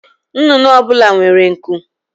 Nnụnụ ọ bụla nwere nku